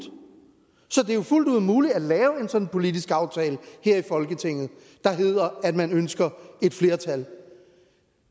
så det er jo fuldt ud muligt at lave en sådan politisk aftale her i folketinget der hedder at man ønsker et flertal